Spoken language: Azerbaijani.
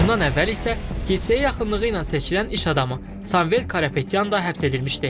Bundan əvvəl isə kilsəyə yaxınlığı ilə seçilən iş adamı Samvel Karapetyan da həbs edilmişdi.